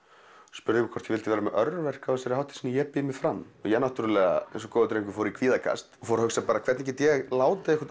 spurði hvort ég vildi vera með örverk á þessari hátíð sem hét ég býð mig fram ég eins og góður drengur fór í kvíðakast og fór að hugsa hvernig get ég látið einhvern